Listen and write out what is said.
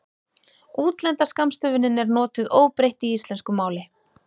útlenda skammstöfunin er notuð óbreytt í íslensku máli